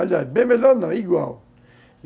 Aliás, bem melhor não, igual.